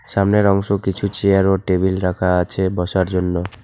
সামনের অংশ কিছু চেয়ার ও টেবিল রাখা আছে বসার জন্য।